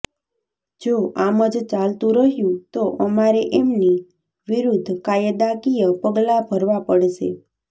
જો આમ જ ચાલતું રહ્યું તો અમારે એમની વિરુદ્ધ કાયદાકીય પગલાં ભરવાં પડશે